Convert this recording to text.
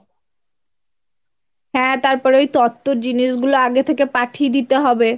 হ্যাঁ তারপরে ওই তত্বর জিনিসগুলো আগে থেকে পাঠিয়ে দিতে হবে